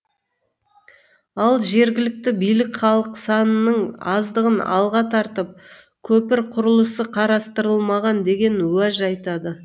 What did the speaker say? ал жергілікті билік халық санының аздығын алға тартып көпір құрылысы қарастырылмаған деген уәж айтады